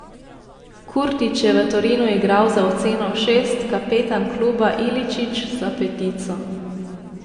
Kurtić je v Torinu igral za oceno šest, kapetan kluba Iličić za petico.